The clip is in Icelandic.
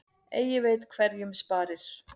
Eigi veit hverjum sparir.